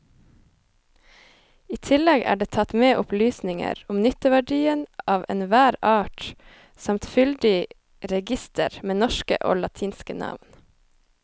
I tillegg er det tatt med opplysninger om nytteverdien av enhver art samt fyldig reigister med norske og latinske navn.